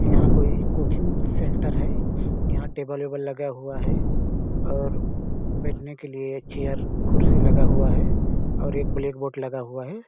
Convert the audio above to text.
यहाँ कोई coaching centre है यहाँ टेबल -वेबल लगा हुआ है और बैठने के लिए चेयर कुर्सी लगा हुआ है और एक ब्लैक बोर्ड लगा हुआ हैं ।